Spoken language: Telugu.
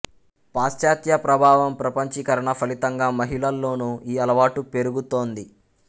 పాశ్చాత్య ప్రభావం ప్రపంచీకరణ ఫలితంగా మహిళల్లోనూ ఈ అలవాటు పెరుగుతోంది